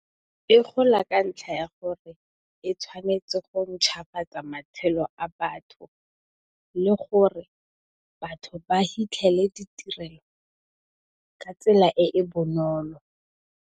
E gola ka ntlha ya gore e tshwanetse go ntšhwafatsa matshelo a batho le gore batho ba fitlhelele ditirelo ka tsela e e bonolo.